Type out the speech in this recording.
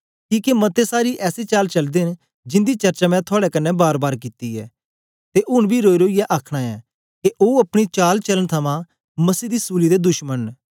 किके मते सारे ऐसी चाल चलदे न जिंदी चर्चा मैं थुआड़े कन्ने बारबार कित्ती ऐ ते ऊन बी रोईरोईयै आ आखना ऐ के ओ अपनी चालचालन थमां मसीह दी सूली दे दुश्मन न